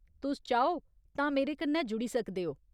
तुस चाहो तां मेरे कन्नै जुड़ी सकदे ओ।